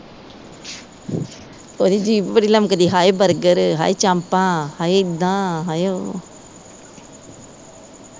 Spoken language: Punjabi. ਓਦੀ ਜੀਭ ਬੜੀ ਲਮਕਦੀ ਹਾਏ ਬਰਗਰ, ਹਾਏ ਚਾਪਾ ਹਾਏ ਏਦਾਂ ਹਾਏ ਓ